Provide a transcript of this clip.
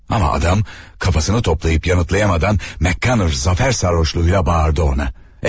Amma adam kafasını toplayıb yanıtlayamadan McConnora zəfər sarhoşluğuyla bağırdı ona.